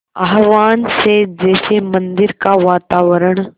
आह्वान से जैसे मंदिर का वातावरण